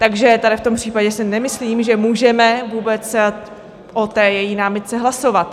Takže tady v tom případě si nemyslím, že můžeme vůbec o té její námitce hlasovat.